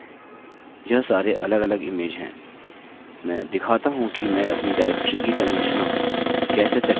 मैंने 8 इमेज बनाई हैं और यह इस तरह से पेज पर सूचीबद्ध होंगे यह सारे अलगअलग इमेज हैं